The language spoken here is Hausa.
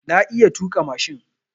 Na iya tuƙa mashin.